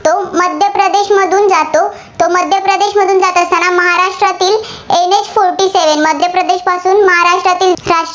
मध्य प्रदेशपासून महाराष्ट्रातील